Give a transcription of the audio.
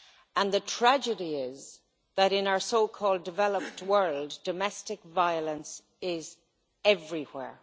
And the tragedy is that in our so called developed world, domestic violence is everywhere.